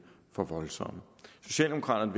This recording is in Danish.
for voldsomme socialdemokraterne